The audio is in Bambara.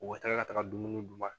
U bɛ taga ka taga dumuni d'u ma